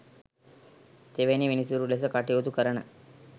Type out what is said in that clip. තෙවැනි විනිසුරු ලෙස කටයුතු කරන